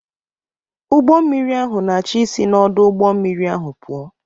Ụgbọ mmiri ahụ na-achọ isi n'ọdụ ụgbọ mmiri ahụ pụọ.